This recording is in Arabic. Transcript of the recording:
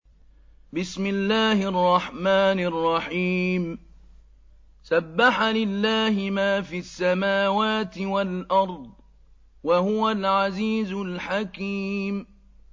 سَبَّحَ لِلَّهِ مَا فِي السَّمَاوَاتِ وَالْأَرْضِ ۖ وَهُوَ الْعَزِيزُ الْحَكِيمُ